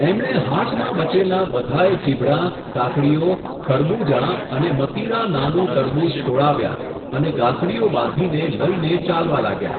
એમણે હાટમાં બચેલાં બધાંયે ચીભડાં, કાકડીઓ, ખરબૂજાં અને મતીરાં નાનું તરબૂચ તોળાવ્યાં અને ગાંસડીઓ બાંધીને લઈને ચાલવા લાગ્યા.